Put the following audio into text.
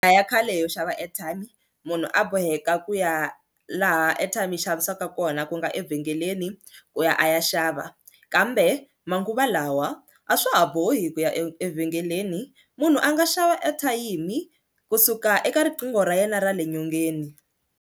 A ya khale yo xava airtime munhu a boheka ku ya laha airtime yi xavisiwaka kona ku nga evhengeleni ku ya a ya xava kambe manguva lawa a swa ha bohi ku ya evhengeleni munhu a nga xava ethayimi kusuka eka riqingho ra yena ra le nyongeni.